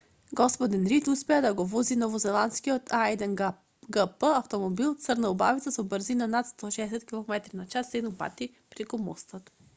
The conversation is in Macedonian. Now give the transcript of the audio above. г-дин рид успеа да го вози новозеландскиот а1гп автомобил црна убавица со брзина над 160 км/ч седум пати преку мостот